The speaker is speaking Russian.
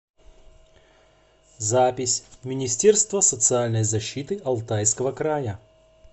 запись министерство социальной защиты алтайского края